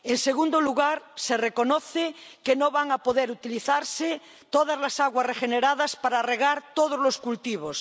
En segundo lugar, se reconoce que no van a poder utilizarse todas las aguas regeneradas para regar todos los cultivos.